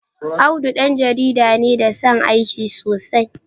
Audu ɗan jarida ne da ya san aiki sosai.